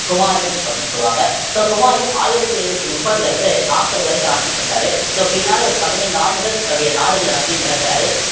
ஹுமாயூன் அப்படின்னு சொல்லுவாங்க so ஹுமாயூன் ஆயிரத்தி ஐந்நூத்தி முப்பதுல இருந்து நாப்பது வரைக்கும் ஆட்சி பண்றாரு so பின்னால ஓரு பதினைந்து ஆண்டுகள் தன்னுடைய நாடுகள் எல்லாத்தையும் இழக்கறாரு